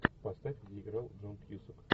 поставь где играл джон кьюсак